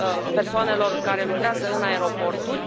persoanelor care lucrează în aeroporturi.